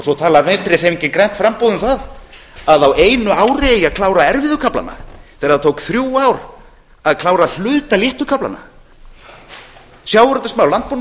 svo talar vinstri hreyfingin grænt framboð um það að á einu ári eigi að klára erfiðu kaflana þegar það tók þrjú ár að klára hluta léttu kaflanna sjávarútvvegsmál landbúnaðarmála það